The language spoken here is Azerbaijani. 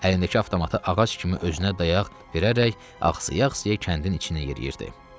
Əlindəki avtomatı ağac kimi özünə dayaq verərək, axsaya-axsaya kəndin içinə yeriyirdi.